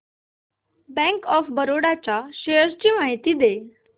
bank of Baroda shares ची माहिती दे